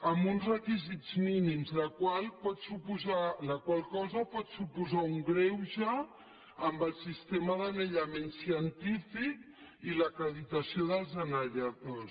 amb uns requisits mínims la qual cosa pot suposar un greuge amb el sistema d’anellament científic i l’acreditació dels anelladors